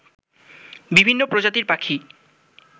বিভিন্ন প্রজাতির পাখি